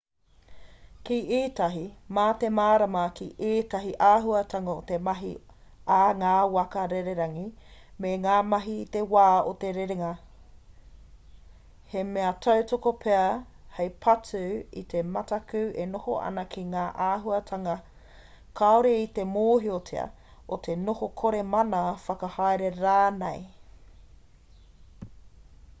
ki ētahi mā te mārama ki ētahi āhuatanga o te mahi a ngā waka rererangi me ngā mahi i te wā o te rerenga he mea tautoko pea hei patu i te mataku e noho ana ki ngā āhuatanga kāore i te mōhiotia o te noho kore mana whakahaere rānei